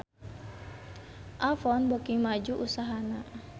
Avon beuki maju usahana